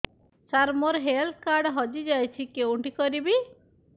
ସାର ମୋର health card ହଜି ଯାଇଛି କେଉଁଠି କରିବି